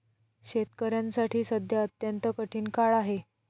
शेतकऱ्यांसाठी सध्या अत्यंत कठीण काळ आहे.